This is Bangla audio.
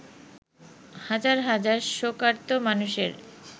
হাজার হাজার শোকার্ত মানুষের